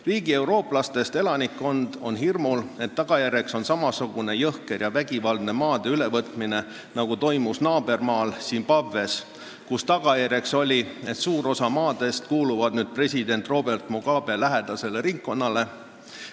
Riigi eurooplastest elanikkond on hirmul, et tagajärjeks on samasugune jõhker ja vägivaldne maade ülevõtmine, nagu toimus naabermaal Zimbabwes, kus suur osa maadest kuulub nüüd president Robert Mugabe lähedasele ringkonnale.